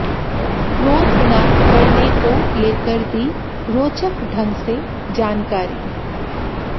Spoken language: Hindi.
क्रोध न करने को लेकर दी रोचक ढंग से जानकारी